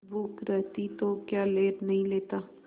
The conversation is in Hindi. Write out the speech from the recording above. भूख रहती तो क्या ले नहीं लेता